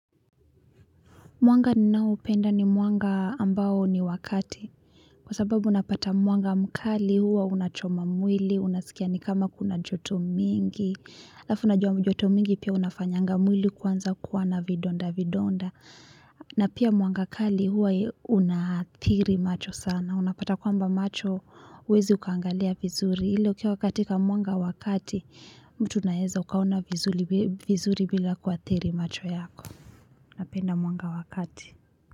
Mwanga ninaoupenda ni mwanga ambao ni wakati kwa sababu una pata mwanga mkali huwa unachoma mwili unaskia ni kama kuna joto mingi alaf unajua joto mingi pia una fanyanga mwili kuanza kwa na vidonda vidonda na pia mwanga kali huwa unaathiri macho sana, unapata kwamba macho huwezi ukaangalia vizuri ila ukiwa katika mwanga wa kati mtu unaeza ukaona vizuri bila kuathiri macho yako.